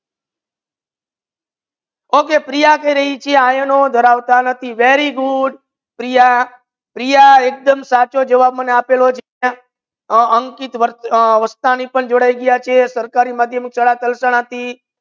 Okay Priya કહી રાહી છે કે આયનો ધારવતા નથી very good પ્રિયા પ્રિયા એકદમ સચો જવાબ મને આપેલો છે અંકિત વર વરસાણી જોડાઈ ગયા છે સરકારી માધ્યમ શાળા તલસાણા થી